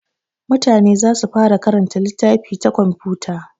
Mutane za su fara karanta littafi ta waya da komfuta.